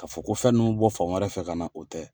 Ka fɔ ko fɛn minnu bɛ bɔ fan wɛrɛ fɛ ka na o tɛ.